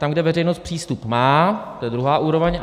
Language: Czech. Tam, kde veřejnost přístup má, to je druhá úroveň.